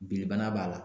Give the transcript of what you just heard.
Bilebana b'a la